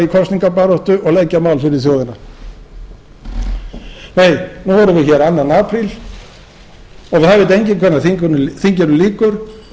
kosningabaráttu og leggja mál fyrir þjóðina nei nú erum við hér annar apríl og það veit enginn hvenær þinginu lýkur og